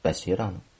Bəsirəm?